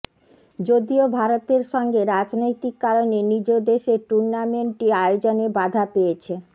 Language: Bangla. যদিও ভারতের সঙ্গে রাজনৈতিক কারণে নিজ দেশে টুর্নামেন্টটি আয়োজনে বাধা পেয়েছে